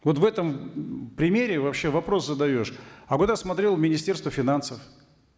вот в этом примере вообще вопрос задаешь а куда смотрело министерство финансов